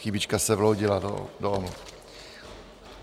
Chybička se vloudila do omluv.